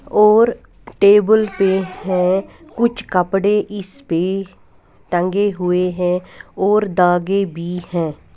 और टेबल पे है कुछ कपड़े इस पे टंगे हुए हैं और दागे भी है।